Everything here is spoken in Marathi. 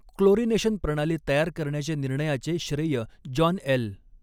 क्लोरिनेशन प्रणाली तयार करण्याच्या निर्णयाचे श्रेय जॉन एल.